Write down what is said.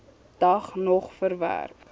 dag nog verwerk